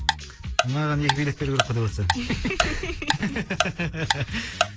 мынаған екі билет беру керек қой деватсаң